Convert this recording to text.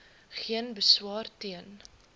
geen beswaar teen